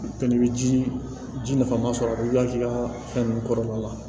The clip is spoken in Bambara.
Fɛnɛ i bɛ ji ji nafama sɔrɔ wuli ka k'i ka fɛn ninnu kɔrɔla la